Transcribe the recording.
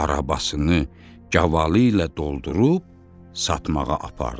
Arabasını gavalı ilə doldurub satmağa apardı.